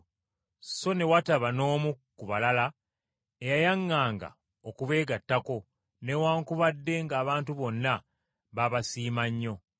So ne wataba n’omu ku balala eyayaŋŋanga okubeegattako, newaakubadde ng’abantu bonna baabasiima nnyo.